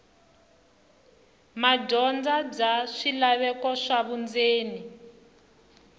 madyondza bya swilaveko swa vundzeni